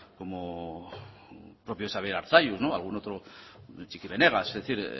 como el propio xabier arzalluz y algún otro txiki benegas es decir